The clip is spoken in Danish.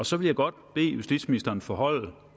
så vil jeg godt bede justitsministeren forholde